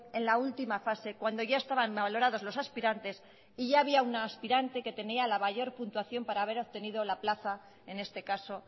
en la última fase cuando ya estaban valorados los aspirantes y ya había una aspirante que tenía la mayor puntuación para haber obtenido la plaza en este caso